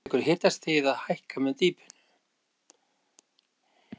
Neðan þessara marka tekur hitastigið að hækka með dýpinu.